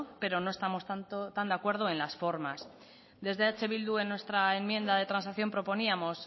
pero no estamos tan de acuerdo en las formas desde eh bildu en nuestra enmienda